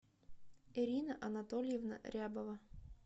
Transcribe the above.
ирина анатольевна рябова